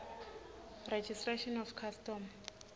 registration of custom